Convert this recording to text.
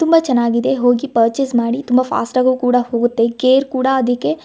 ತುಂಬಾ ಚನ್ನಾಗಿದೆ ಹೋಗಿ ಪರ್ಚೆಸ್ ಮಾಡಿ ತುಂಬಾ ಫಾಸ್ಟ್ ಆಗು ಕೂಡ ಹೋಗುತ್ತೆ ಕೇರ್ ಕೂಡ ಅದಕ್ಕೆ --